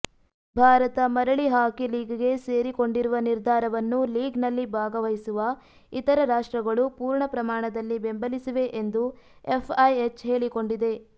ಭಾರತ ಮರಳಿ ಹಾಕಿ ಲೀಗ್ಗೆ ಸೇರಿಕೊಂಡಿರುವ ನಿರ್ಧಾರವನ್ನು ಲೀಗ್ನಲ್ಲಿ ಭಾಗವಹಿಸುವ ಇತರ ರಾಷ್ಟ್ರಗಳು ಪೂರ್ಣಪ್ರಮಾಣದಲ್ಲಿ ಬೆಂಬಲಿಸಿವೆ ಎಂದು ಎಫ್ಐಎಚ್ ಹೇಳಿಕೊಂಡಿದೆ